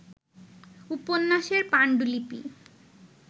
উপন্যাসের পাণ্ডুলিপি